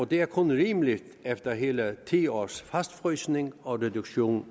det er kun rimeligt efter hele ti års fastfrysning og reduktion